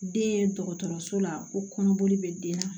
Den dɔgɔtɔrɔso la u kɔnɔboli bɛ den na